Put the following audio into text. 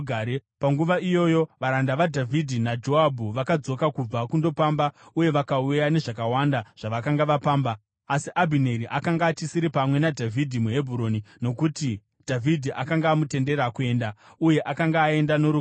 Panguva iyoyo varanda vaDhavhidhi naJoabhu vakadzoka kubva kundopamba uye vakauya nezvakawanda zvavakanga vapamba. Asi Abhineri akanga achisiri pamwe naDhavhidhi muHebhuroni, nokuti Dhavhidhi akanga amutendera kuenda, uye akanga aenda norugare.